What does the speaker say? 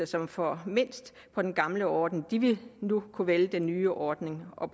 som får mindst på den gamle ordning de vil nu kunne vælge den nye ordning og